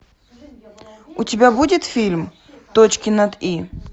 у тебя будет фильм точки над и